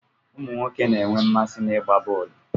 Ụmụ nwoke na-enwe mmasị n'ịgba bọọlụ